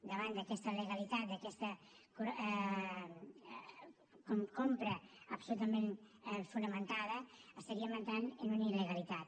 davant d’aquesta legalitat d’aquesta compra absolutament fonamentada entraríem en una il·legalitat